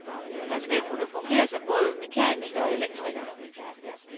Han skal kunne fungere som både mekaniker og elektriker.